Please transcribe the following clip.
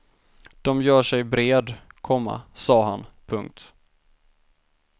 Dom gör sig bred, komma sa han. punkt